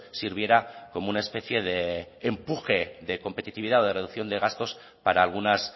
sirviera como una especie de empuje de competitividad o de reducción de gastos para algunas